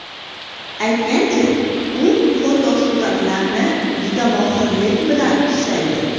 Aytgancha, u fotosuratlarni juda mohirlik bilan ishlaydi.